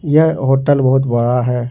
यह होटल बहोत बड़ा है।